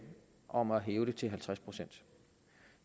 om at hæve det til halvtreds procent